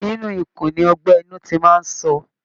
Inú ikùn ni ọgbẹ́ inú ti máa ń sọ